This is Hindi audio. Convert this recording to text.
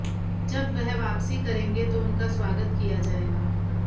जब वह वापसी करेंगे तो उनका स्वागत किया जाएगा